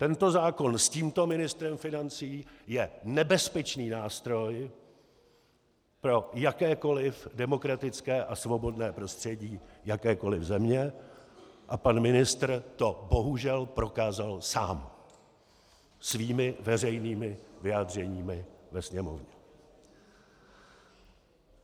Tento zákon s tímto ministrem financí je nebezpečný nástroj pro jakékoli demokratické a svobodné prostředí jakékoli země a pan ministr to bohužel prokázal sám svými veřejnými vyjádřeními ve Sněmovně.